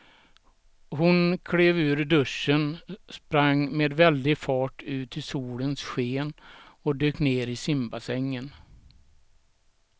Hon klev ur duschen, sprang med väldig fart ut i solens sken och dök ner i simbassängen.